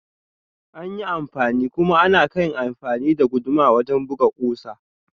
Anyi anfani kuma anakai amfani da guduma wajen ɗukan kusa.